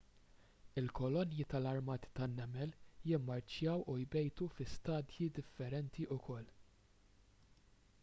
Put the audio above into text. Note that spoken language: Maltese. il-kolonji tal-armati tan-nemel jimmarċjaw u jbejtu fi stadji differenti wkoll